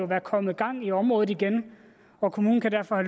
være kommet gang i området igen og kommunen kan derfor